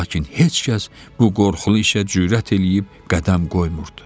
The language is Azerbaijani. Lakin heç kəs bu qorxulu işə cürət eləyib qədəm qoymurdu.